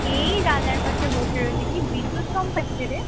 এই জানালার পাশে বসে রয়েছি কি বিদ্যুৎ চমকাচ্ছেরে